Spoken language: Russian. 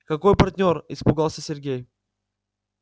какой партнёр испугался сергей